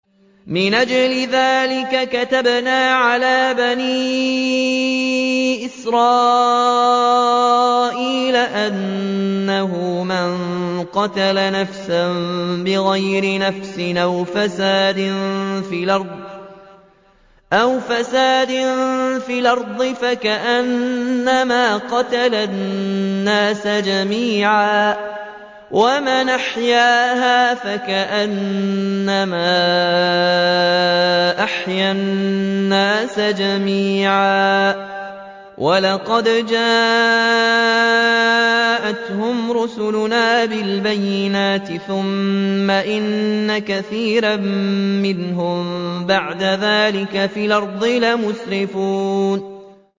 مِنْ أَجْلِ ذَٰلِكَ كَتَبْنَا عَلَىٰ بَنِي إِسْرَائِيلَ أَنَّهُ مَن قَتَلَ نَفْسًا بِغَيْرِ نَفْسٍ أَوْ فَسَادٍ فِي الْأَرْضِ فَكَأَنَّمَا قَتَلَ النَّاسَ جَمِيعًا وَمَنْ أَحْيَاهَا فَكَأَنَّمَا أَحْيَا النَّاسَ جَمِيعًا ۚ وَلَقَدْ جَاءَتْهُمْ رُسُلُنَا بِالْبَيِّنَاتِ ثُمَّ إِنَّ كَثِيرًا مِّنْهُم بَعْدَ ذَٰلِكَ فِي الْأَرْضِ لَمُسْرِفُونَ